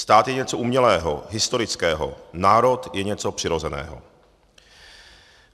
Stát je něco umělého, historického, národ je něco přirozeného.